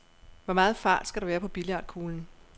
Hvor meget fart skal der være på billiardkuglen?